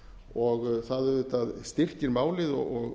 og það auðvitað styrkir málið og